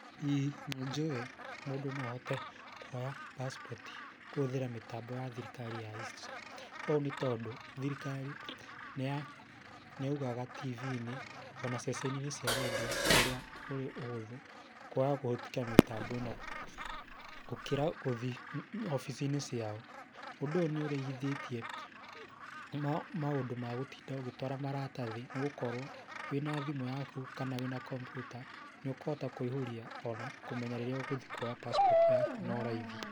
ĩĩ nĩ njũĩ mũndũ no ahote kuoya passport kũhũthĩra mĩtambo ya thirikari ya E-citizen. Ũũ nĩ tondũ thirikari nĩ yaugaga TV-inĩ ona ceceni-inĩ cia rendio ũrĩa kũrĩ ũhũthũ kwaha kũhĩtũkĩra mĩtambo ĩno gũkĩra kwaga gũthiĩ obici-inĩ ciao. Ũndũ ũyũ nĩ ũrĩhithiĩtie maũndũ ma gũtinda ũgĩtwara maratathi nĩ gũkorwo wĩna thimũ yaku kana wĩna kompiuta, nĩ ũkũhota kũihũria na ona kũmenya rĩrĩa ũgũthiĩ kuoya passport yaku no raithi.